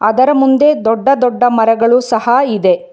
ಅದರ ಮುಂದೆ ದೊಡ್ಡ ದೊಡ್ಡ ಮರಗಳು ಸಹ ಇದೆ.